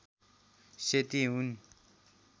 सेती हुन्